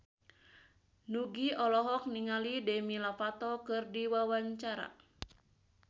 Nugie olohok ningali Demi Lovato keur diwawancara